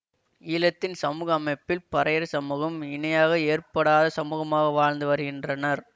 ஈழத்தின் சமூக அமைப்பில் பறையர் சமூகம் இணையாக ஏற்ப்படாத சமூகமாக வாழ்ந்து வருகின்றனர்